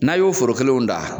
N'a y'o foro kelenw dan